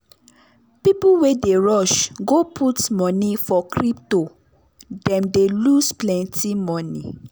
people wey dey rush go put money for crypto them dey loose plenty money.